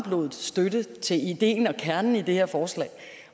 støtte til ideen og kernen i det her forslag